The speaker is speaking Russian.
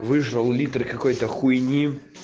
вышел литр какой-то хуйне